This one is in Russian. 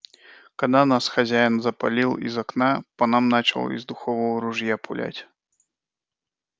когда нас хозяин запалил и из окна по нам начал из духового ружья пулять